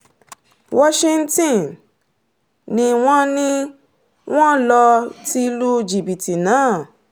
washington ni wọ́n ni wọ́n lọ ti lu jìbìtì náà